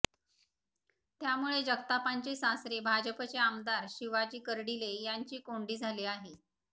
त्यामुळे जगतापांचे सासरे भाजपाचे आमदार शिवाजी कर्डिले यांची कोंडी झाली आहे